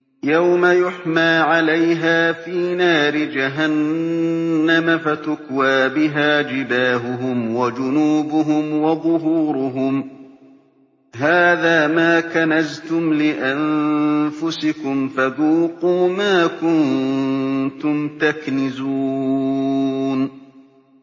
يَوْمَ يُحْمَىٰ عَلَيْهَا فِي نَارِ جَهَنَّمَ فَتُكْوَىٰ بِهَا جِبَاهُهُمْ وَجُنُوبُهُمْ وَظُهُورُهُمْ ۖ هَٰذَا مَا كَنَزْتُمْ لِأَنفُسِكُمْ فَذُوقُوا مَا كُنتُمْ تَكْنِزُونَ